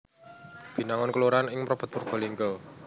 Binangun kelurahan ing Mrebet Purbalingga